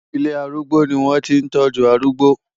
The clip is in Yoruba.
Ilé arúgbó ni wọ́n ti ń tọ́jú arúgbó.